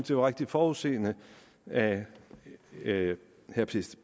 det var rigtig forudseende af herre